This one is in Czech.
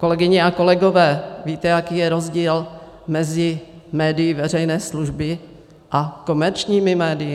Kolegyně a kolegové, víte, jaký je rozdíl mezi médii veřejné služby a komerčními médii?